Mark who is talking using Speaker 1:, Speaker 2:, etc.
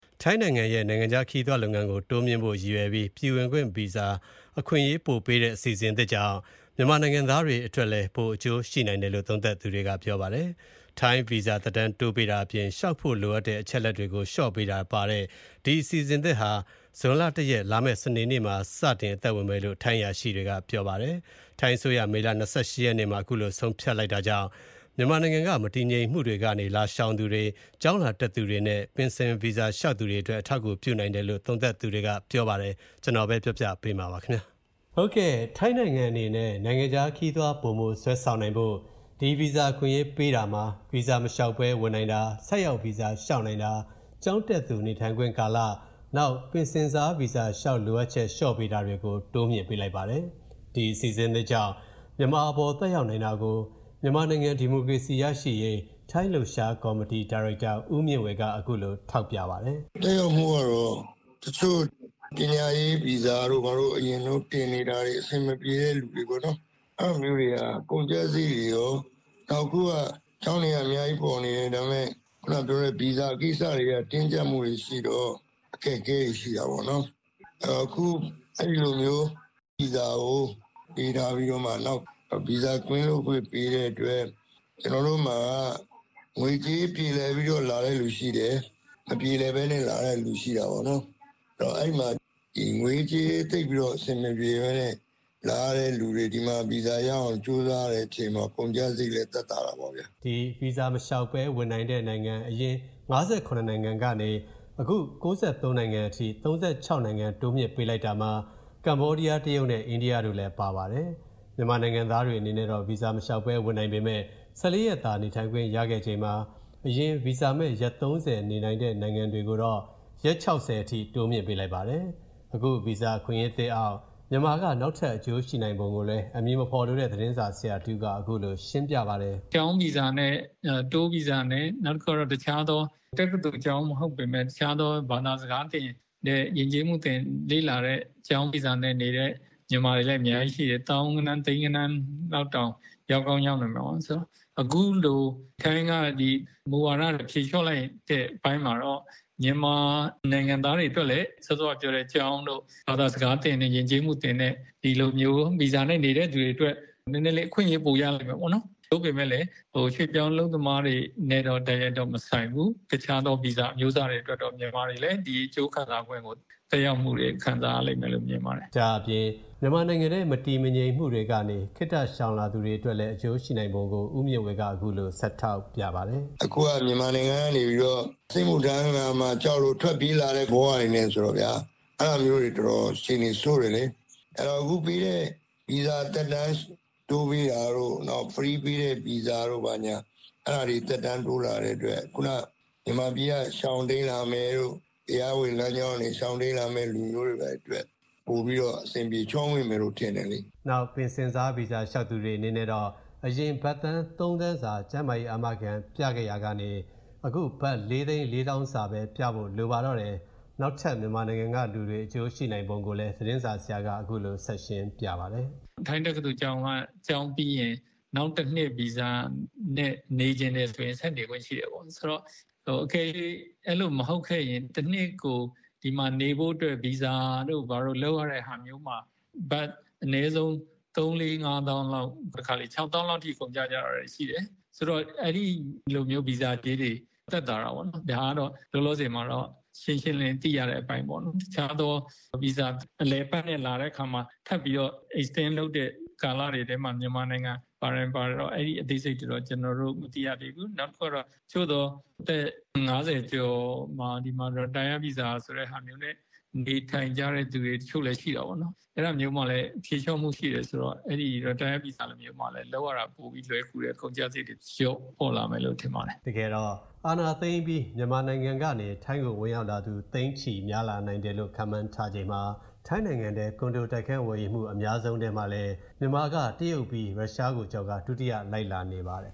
Speaker 1: ထိုင်းနိုင်ငံရဲ့ နိုင်ငံခြားခရီးသွားလုပ်ငန်း တိုးမြှင့်ဖို့အတွက် ရည်ရွယ်ပြီး ပြည်ဝင်ခွင့်ဗီဇာ အခွင့်အရေးပိုပေးမဲ့ အစီအစဉ်သစ်ကြောင့် မြန်မာနိုင်ငံသားတွေလည်း ပိုအကျိုးရှိနိုင်တယ်လို့ သုံးသပ်ကြပါတယ်။ ထိုင်း ဗီဇာ သက်တမ်းတိုးပေးတာအပြင် လျှောက်ဖို့လိုအပ်တဲ့ အချက်အလက်တွေကို လျှော့ပေးတာတွေပါဝင်တဲ့ ဒီအစီအစဉ်သစ်ဟာ ဇွန်လ ၁ ရက်၊ စနေနေ့မှာ စစတင် အသက်ဝင်မယ်လို့ ထိုင်းအရာရှိတွေက ပြောပါတယ်။ ထိုင်းအစိုးရ မေလ ၂၈ ရက်နေ့မှာ အခုလိုဆုံးဖြတ်တာကြောင့် မြန်မာနိုင်ငံမှာ ကြုံတွေ့နေရတဲ့ မတည်မငြိမ်မှုတွေကနေ လာရှောင်သူတွေ၊ ကျောင်းလာတက်သူတွေနဲ့ ပင်ဆင် ဗီဇာလျှောက်သူတွေအတွက် အထောက်အကူပြုနိုင်တယ်လို့ သုံးသပ်သူတွေက ပြောပါတယ်။ ဒီအကြောင်း ကိုဝင်းမင်းက စုစည်း တင်ပြပေးထားပါတယ်။ ထိုင်းနိုင်ငံအနေနဲ့ နိုင်ငံခြားခရီးသွား ပိုမိုဆွဲဆောင်နိုင်ဖို့ ဒီ ဗီဇာ အခွင့်အရေးပေးတာမှာ၊ ဗီဇာမလျှောက်ဘဲဝင်နိုင်တာ၊ ဆိုက်ရောက်ဗီဇာလျှောက်နိုင်တာ၊ ကျောင်းတက်သူနေထိုင်ခွင့်ကာလ၊ ပင်ဆင်စားဗီဇာလျှောက်လိုအပ်ချက်လျော့ပေးတာတွေကို တိုးမြှင့်ပေးလိုက်ပါတယ်။ ဒီအစီအစဉ်သစ်ကြောင့် မြန်မာအပေါ် သက်ရောက်နိုင်တာကို မြန်မာနိုင်ငံဒီမိုကရေစီရရှိရေး ထိုင်းလှုပ်ရှားကော်မတီ ဒါရိုက်တာ ဦးမြင့်ဝေက အခုလို Text ထောက်ပြပါတယ်။
Speaker 2: "သက်ရောက်မှုကတော့ တချို့ပညာရေးဗီဇာတွေဘာတွေ တင်နေတာတွေ အဆင်မပြေတဲ့သူတွေပေါ့နော်၊ အဲဒါမျိုးတွေက ကုန်ကျစရိတ်တွေကော နောက်အခုက ကျောင်းတွေက အများကြီးပေါ်နေတယ် ဒါပေမဲ့ ဗီဇာကိစ္စတွေက တင်းကျပ်မှုတွေရှိတော့ အခက်အခဲတွေရှိတာပေါ့နော်။ အခုအဲလိုမျိုး ဗီဇာကိုပေးထားပြီးတော့မှ နောက်ဗီဇာကင်းလွတ်ခွင့်ပေးတဲ့အတွက် ကျွန်တော်တို့မှာ ငွေကြေးပြေလည်ပြီးတော့လာတဲ့သူရှိတယ်။ မပြေလည်ပဲနဲ့လာတဲ့သူရှိတာပေါ့နော်။ သိပ်မပြေလည်တဲ့သူတွေ လာရတဲ့အချိန် ဒီမှာဗီဇာရအောင်ကြိုးစားတဲ့အချိန်တော့ ကုန်ကျစရိတ်သက်သာတာပေါ့ဗ
Speaker 1: ျာ " ဗီဇာမလျှောက်ဘဲ ဝင်နိုင်တဲ့ နိုင်ငံ အရင် ၅၇ နိုင်ငံကနေ အခု ၉၃ နိုင်ငံအထိ ၃၆ နိုင်ငံတိုးမြှင့်ပေးလိုက်တာမှာ ကမ္ဘောဒီးယား၊ တရုတ်နဲ့ အိန္ဒိယတို့လည်း ပါပါတယ်။ မြန်မာနိုင်ငံသားတွေအနေနဲ့တော့ ဗီဇာမလျှောက်ဘဲ လာရောက်နေထိုင်ခွင့် ၁၄ ရက်သာ ရှိချိန်မှာ၊ အရင် ဗီဇာမဲ့ ရက် ၃၀ နေထိုင်ခွင့်ရှိတဲ့ နိုင်ငံသားတွေကိုတော့ ရက် ၆၀ အထိ တိုးမြှင့်ပေးလိုက်ပါတယ်။ အခုဗီဇာအခွင့်အရေးသစ်အောက် မြန်မာက နောက်ထပ် အကျိုးရှိနိုင်ပုံကိုလည်း အမည်မဖော်လိုတဲ့ သတင်းဆရာတဦးက အခုလို ရှင်းပြပါတယ်။ "ကျောင်းဗီဇ
Speaker 3: ာနဲ့၊ Tourဗီဇာနဲ့ တက္ကသိုလ်ကျောင်းမဟုတ်ပေမဲ့ တခြားသော ဘာသာစကားသင်တဲ့ ယဉ်ကျေးမှုလေ့လာတဲ့သင်တဲ့ ကျောင်းဗီဇာနဲ့နေတဲ့ မြန်မာတွေလည်းအများကြီးရှိတယ် သောင်းဂဏန်း သိန်းဂဏန်း လောက်တောင် ရောက်ကောင်းရောက်နိုင်တယ်။ အခုလိုထိုင်းက မူဝါဒဖြေလျှော့လိုက်တဲ့အပိုင်းမှာတော့ မြန်မာနိုင်ငံသားတွေအတွက်လည်း ကျောင်းတို့ ဘာသာစကားသင်တဲ့ ယဉ်ကျေးမှုသင်တဲ့ဒီလိုမျိုးဗီဇာနဲ့နေတဲ့သူတွေအတွက် နည်းနည်းလေး အခွင့်အရေးပိုရမယ်ပေါ့နော်။ သို့ပေမဲ့လည်း ရွှေ့ပြောင်းအလုပ်သမားတွေနဲ့တော့ တိုက်ရိုက်တော့မဆိုင်ဘူး။ တခြားသောဗီဇာအမျိုးအစားတွေအတွက်တော့ တခြားသောမြန်မာတွေလည်း အကျိုးသက်ရောက်မှုကို ခံစားရလိမ့်မယ်လို့ မြင်ပါတယ
Speaker 1: ်။" ဒါ့အပြင် မြန်မာနိုင်ငံထဲ မတည်မငြိမ်မှုတွေကနေ ခေတ္တရှောင်လာသူတွေအတွက်လည်း အကျိုးရှိနိုင်ပုံကို ဦးမြင့်ဝေက အခုလို ဆက်ထောက်ပြပါတယ်။
Speaker 2: "အခုက မြန်မာနိုင်ငံကနေပြီးတော့ စစ်မှုထမ်းရမှာကြောက်လို့ ထွက်ပြေးလာတဲ့ ဘဝတွေနဲ့ဆိုတော့ဗျာ အဲဒါကအတော်အခြေအနေဆိုးတယ်လေ။ အခုပေးတဲ့ ဗီဇာသက်တမ်းတိုးပေးတာတို့ ဖရီးပေးတဲ့ဗီဇာတို့ ဘာညာ အဲဒါတွေသက်တမ်းတိုးလာတဲ့အတွက် မြန်မာပြည်က ရှောင်တိမ်းလာမယ်တို့ တရားဝင်လမ်းကြောင်းကနေရှောင်တိမ်းလာမယ့် သူတွေအတွက် ပိုပြီးတော့ အဆင်ပြေချောမွေ့မယ်လို့ ထင်တယ်လေ
Speaker 1: " နောက် ပင်ဆင်စားဗီဇာလျှောက်သူတွေအနေနဲ့တော့ အရင် ဘတ်သန်း ၃ သန်းစာ ကျန်းမာရေး အာမခံပြခဲ့ရတာကနေ၊ အခု ဘတ် ၄ သိန်း ၄ သောင်းစာပဲ ပြဖို့ လိုပါတော့တယ်။ နောက်ထပ် မြန်မာနိုင်ငံကလူတွေတွေ အကျိုးရှိနိုင်ပုံကိုလည်း သတင်းဆရာက အခုလို ဆက်ရှင်းပြပါတယ်။
Speaker 3: "ထိုင်းတက္ကသိုလ်ကျောင်းက ကျောင်းပြီးရင် နောက်တနှစ် ဗီဇာနဲ့နေချင်တယ်ဆိုရင် ဆက်နေခွင့်ရှိတယ်ပေါ့ အကယ်၍ အဲလိုမဟုတ်ခဲ့ရင် တနှစ်ကို ဒီမှာနေဖို့အတွက် ဗီဇာတို့ဘာတို့လုပ်ရတဲ့ဟာမျိုးမှာ အနည်းဆုံး ဘတ် ၃ ၄ ၅ သောင်းလောက်၊ တခါတလေ ၆ သောင်းလောက်အထိကုန်ကျကြတာတွေရှိတယ်။ အဲဒီလိုမျိုးဗီဇာကြေးတွေသက်သာတာပေါ့နော်။ ဒါကတော့ လောလောဆယ် ရှင်းရှင်းလင်းလင်းသိရတဲ့အပိုင်းပေါ့နော်။ အလည်အပတ်ဗီဇာနဲ့လာတဲ့အခါမှထပ်ပြီးတော့ extend လုပ်တဲ့အထဲမှာမြန်မာနိုင်ငံပါတယ်မပါတယ်တော့ အသေးစိတ်တွေတော့ မသိရသေးဘူး။ နောက်တခုကတော့ အသက် ၅၀ ကျော် ဒီမှာ retired ဗီဇာဆိုတဲ့ဟာမျိုးနဲ့ နေထိုင်ကြတဲ့သူတွေ တချို့လည်းရှိပေါ့နော်။ အဲဒါမျိုးမှာလည်း ဖြေ
Speaker 1: လျှော့မှုရှိတယ်ဆိုတော့ လ
Speaker 3: ုပ်ရတာလွယ်ကူတယ်။ ကုန်ကျစရိတ်တွေလျေ
Speaker 1: ာ့လာမယ်လို့ ထင်ပါတယ်" တကယ်တော့ အာဏာသိမ်းအပြီး မြန်မာကနေ ထိုင်းကို ဝင်ရောက်သူ သိန်းချီများလာနိုင်တယ်လို့လည်း ခန့်မှန်းထားချိန်မှာ၊ ထိုင်နိုင်ငံတွင်း ကွန်ဒိုတိုက်ခန်းဝယ်ယူမှု အများဆုံးထဲမှာ ပါဝင်နေပြီး မြန်မာက တရုတ်ပြီးရင် ရုရှားကိုကျော်ပြီး ဒုတိယလိုက်လာနေပါတယ်